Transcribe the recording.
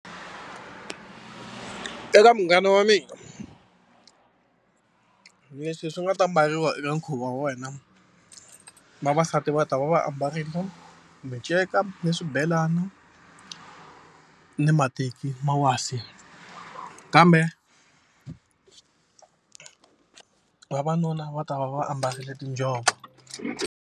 Eka munghana wa mina, leswi swi nga ta mbariwa eka nkhuvo wa wena vavasati va ta va va ambarile minceka ni swibelana ni mateki ma wasi kambe vavanuna va ta va va ambarile tinjhovo.